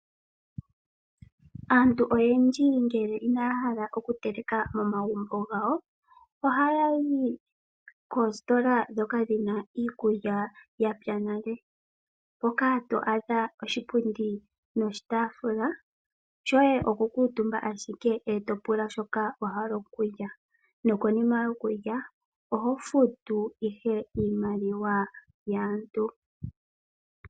Aantu oyendji ngele inaya hala oku teleka mo magumbo gawo ohaya yi koositola ndhoka dhi na iikulya ya pya nale. Hoka to adha oshipundi noshitaafula, shoye okukuutumba ashike e to pula shoka wa hala okulya nokonima yokulya oho futu ihe iimaliwa yaantu.